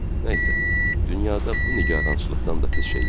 Nə isə, dünyada bu nigarançılıqdan da pis şey yoxdu.